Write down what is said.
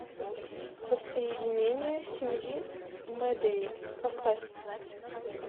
воссоединение семьи мэдеи поставь